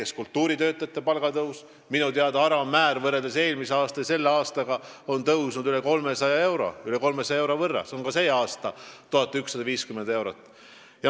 Ka kultuuritöötajate palgad tõusevad, minu teada on nende palga alammäär tõusnud sellel aastal eelmisega võrreldes rohkem kui 300 euro võrra, see on sel aastal 1150 eurot.